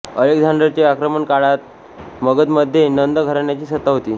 अलेक्झांडरचे आक्रमण काळात मगधमध्ये नंद घराण्याची सत्ता होती